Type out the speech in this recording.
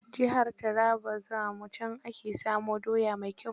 Jihar Taraba za mu, can ake samo doya mai kyau.